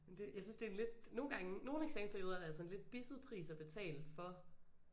Men det jeg synes det en lidt nogle gange nogle af eksamensperioderne er altså en lidt bisset pris at betale for